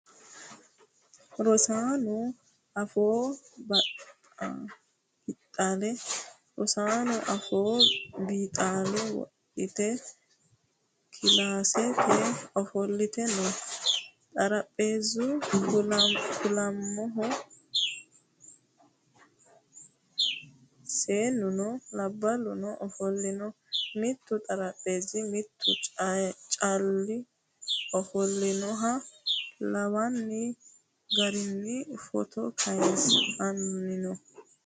Rosaano afooho bixaala wodhite kilaasete ofolte no. Xarapheezzu kuulaamoho. seennuno labballuno ofollino. Mittu xarapheezzira mittu Cally ofollinoha lawanni garinni footo kayinsoonni.